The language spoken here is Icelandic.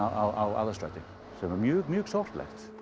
á Aðalstræti sem er mjög mjög sorglegt